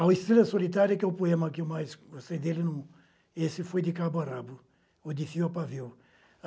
A Estrela Solitária, que é o poema que eu mais gostei dele, esse foi de Cabo Arabo, Odifio Apavio.